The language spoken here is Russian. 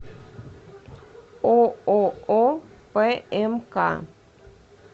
ооо пмк